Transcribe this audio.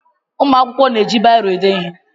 Ụmụ akwụkwọ na-eji biro ede ihe